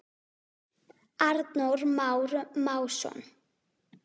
Arnór Már Másson.